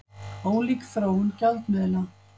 Ólík þróun gjaldmiðla